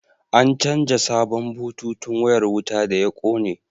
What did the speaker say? An canja sabon bututun wayar wuta da ya kone